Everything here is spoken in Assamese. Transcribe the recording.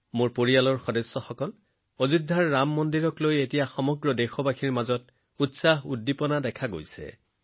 মোৰ পৰিয়ালৰ সদস্যসকল অযোধ্যাৰ ৰাম মন্দিৰৰ আশেপাশে সমগ্ৰ দেশতে উৎসাহ আৰু উদ্দীপনা বিয়পি পৰিছে